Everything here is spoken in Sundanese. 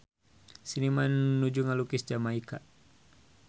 Seniman nuju ngalukis Jamaika